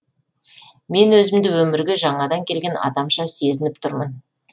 мен өзімді өмірге жаңадан келген адамша сезініп тұрмын